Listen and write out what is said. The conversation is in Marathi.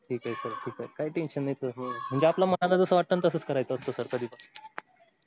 ठीक आहे sir ठीक आहे काही tension नाही. म्हणजे आपल्या मनाला जसं वाटत ना तसेच करायचं असत कधी पण